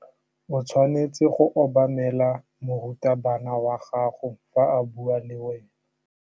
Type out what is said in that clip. O tshwanetse go obamela morutabana wa gago fa a bua le wena.